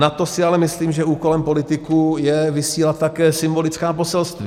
Nad to si ale myslím, že úkolem politiků je vysílat také symbolická poselství.